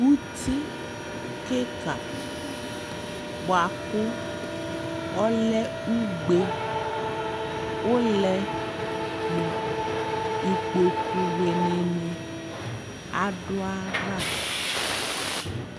ʋti kikaa bʋakʋ ɔlɛ ʋgbɛ, ʋlɛ nʋ ikpɔkʋ wini dini adʋaɣa